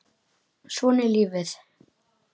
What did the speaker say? Svona er lífið.